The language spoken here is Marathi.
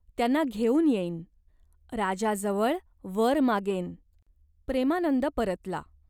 त्यांना घेऊन येईन. राजाजवळ वर मागेन." प्रेमानंद परतला.